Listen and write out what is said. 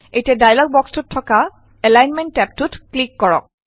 এতিয়া ডায়্লগ বক্সটোত থকা এলাইনমেন্ট টেবটোত ক্লিক কৰক